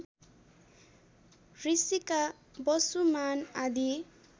ऋषिका वसुमान आदि